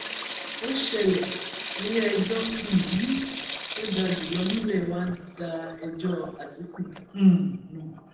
ó ṣẹlẹ iléẹjọ um tó ga jù lọ nílé wa da ẹjọ àtìkú um nù